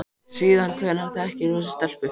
Síðan hvenær þekkir þú þessa stelpu?